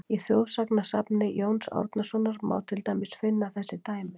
Í þjóðsagnasafni Jóns Árnasonar má til dæmis finna þessi dæmi: